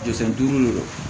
Jurusen duuru de don